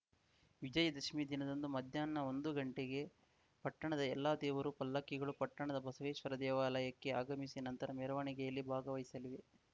ವಿಜಯದಶಮಿ ದಿನದಂದು ಮಧ್ಯಾಹ್ನ ಒಂದು ಗಂಟೆಗೆ ಪಟ್ಟಣದ ಎಲ್ಲಾ ದೇವರ ಪಲ್ಲಕ್ಕಿಗಳು ಪಟ್ಟಣದ ಬಸವೇಶ್ವರ ದೇವಾಲಯಕ್ಕೆ ಆಗಮಿಸಿ ನಂತರ ಮೆರವಣಿಗೆಯಲ್ಲಿ ಭಾಗವಹಿಸಲಿವೆ